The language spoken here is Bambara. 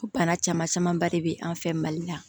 Ko bana caman camanba de bɛ an fɛ mali la